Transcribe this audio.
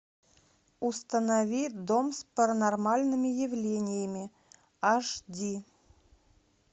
установи дом с паранормальными явлениями аш ди